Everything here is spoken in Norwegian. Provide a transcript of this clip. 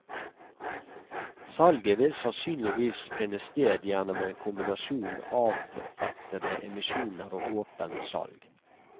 Salget vil sannsynligvis finne sted gjennom en kombinasjon avrettede emisjoner og åpent salg.